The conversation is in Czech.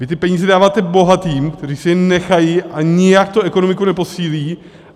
Vy ty peníze dáváte bohatým, kteří si je nechají a nijak tu ekonomiku neposílí.